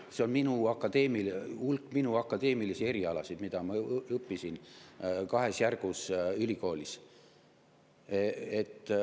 See on minu eriala, see on hulk minu akadeemilisi erialasid, mida ma õppisin kahes järgus ülikoolis.